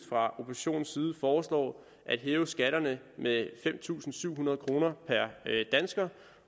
fra oppositionens side foreslår at hæve skatterne med fem tusind syv hundrede kroner per dansker